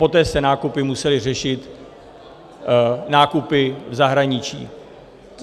Poté se nákupy musely řešit nákupy v zahraničí.